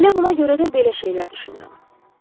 Elə buna görə də belə şeylər düşünürəm.